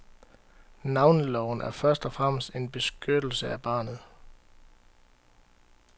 Navneloven er først og fremmest en beskyttelse af barnet.